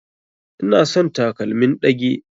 Ina son sa takalmin ɗage.